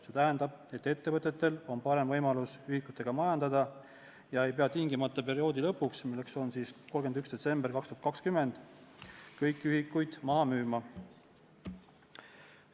See tähendab, et ettevõtetel on parem võimalus ühikutega majandada ja nad ei pea perioodi lõpuks, milleks on 31. detsember 2020, kõiki ühikuid tingimata maha müüma.